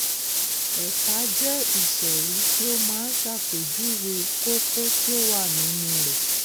ẹka jẹ ìsòrí tí ó máa ń ṣàpèjúwe kókó tí ó wà nínú rẹ